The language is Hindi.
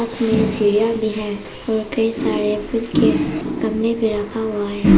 इसमें सीढ़ीया भी है और कई सारे फूल के गमले भी रखा हुआ है।